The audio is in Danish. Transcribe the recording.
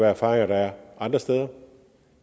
erfaringer der er andre steder